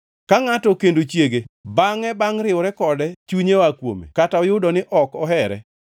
Ka ngʼato okendo chiege bangʼe bangʼ riwore kode chunye oa kuome kata oyudo ni ok ohere,